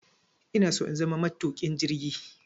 Inaso in zama matuƙin jirgi